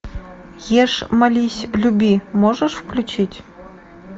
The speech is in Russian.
ешь молись люби можешь включить